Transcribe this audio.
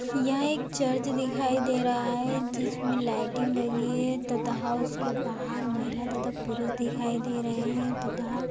यह एक चर्च दिखाई दे रहा है जिसमे लाइटिंग लगी हैं तथा उसके बाहर महिला तथा पुरुष दिखाई दे रहे हैं तथा --